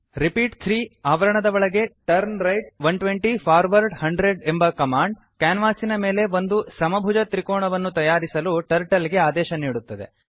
repeat 3turnright 120 forward 100 repeat three ಆವರಣದ ಒಳಗೆ turn right ೧೨೦ forward ೧೦೦ ಎಂಬ ಕಮಾಂಡ್ ಕ್ಯಾನ್ವಾಸಿನ ಮೇಲೆ ಒಂದು ಸಮಭುಜ ತ್ರಿಕೋಣವನ್ನು ತಯಾರಿಸಲು ಟರ್ಟಲ್ ಗೆ ಆದೇಶ ನೀಡುತ್ತದೆ